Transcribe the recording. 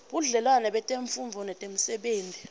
budlelwane betemfundvo netemisebenti